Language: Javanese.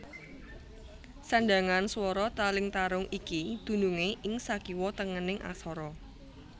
Sandhangan swara taling tarung iki dunungé ing sakiwa tengening aksara